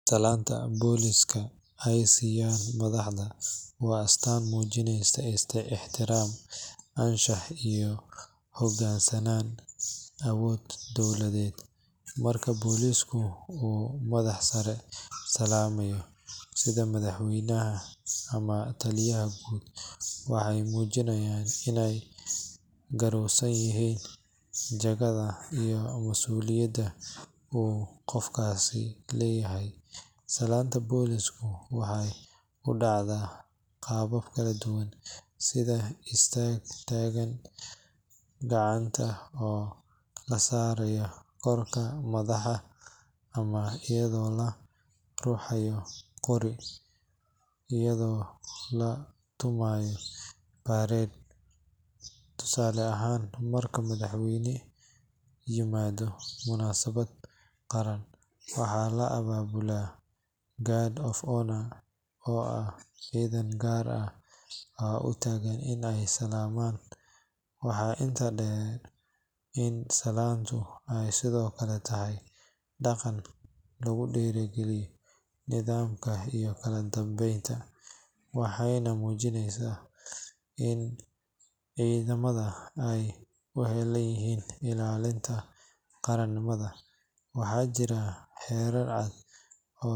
Salaanta booliiska ay siiyaan madaxda waa astaan muujinaysa ixtiraam, anshax iyo u hoggaansanaan awoodda dowladeed. Marka booliisku uu madax sare salaamayo, sida madaxweynaha ama taliyaha guud, waxay muujinaysaa inay garowsan yihiin jagada iyo masuuliyadda uu qofkaasi leeyahay. Salaanta booliisku waxay u dhacdaa qaabab kala duwan sida istaag taagan, gacanta oo la saaro korka madaxa ama iyadoo la ruxayo qori iyadoo la tumayo parade. Tusaale ahaan, marka madaxweyne yimaado munaasabad qaran, waxaa la abaabulaa guard of honour oo ah ciidan gaar ah oo u taagan in ay salaamaan. Waxaa intaa dheer in salaantu ay sidoo kale tahay dhaqan lagu dhiirrigeliyo nidaamka iyo kala dambeynta, waxayna muujisaa in ciidamada ay u heellan yihiin ilaalinta qaranimada. Waxaa jira xeerar cad oo.